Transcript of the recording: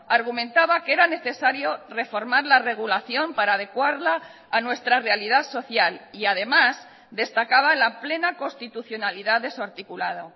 argumentaba que era necesario reformar la regulación para adecuarla a nuestra realidad social y además destacaba la plena constitucionalidad de su articulado